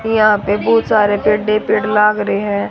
यहां पे बहुत सारे बड़े पेड़ लाग रे हैं।